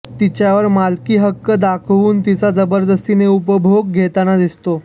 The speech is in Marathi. तिच्यावर मालकी हक्क दाखवून तिचा जबरदस्तीने उपभोग घेताना दिसतो